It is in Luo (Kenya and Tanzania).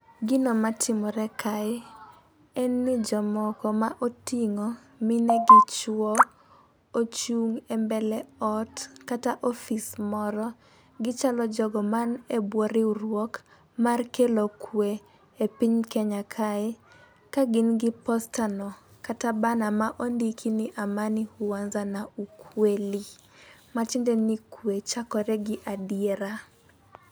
Gino matimore kae en ni jomoko ma oting'o mine gi chwo, ochung' e mbele ot, kata office moro. Gichalo jogo mani e bwo riwruok mar kelo kwe e piny Kenya kae. Ka gin gi poster no kata banner ma ondiki ni amani huanza na ukweli matiende ni kwe chakore gi adiera.